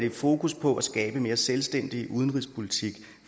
et fokus på at skabe mere selvstændig udenrigspolitik